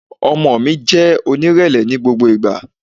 Ọmọ mi, jẹ́ onírẹ̀lẹ̀ ni gbogbo ìgbà!